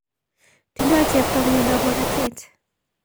Tindo chepto miondab makatet